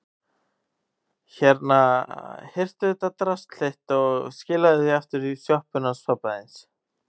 Hérna, hirtu þetta drasl þitt og skilaðu því aftur í sjoppuna hans pabba þíns.